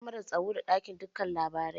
Kamarar tsaro ta ɗauki dukkan lamarin.